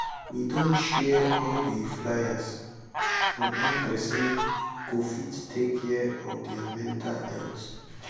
we don share all the fliers on how person go fit take care of their mental health